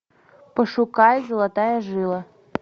пошукай золотая жила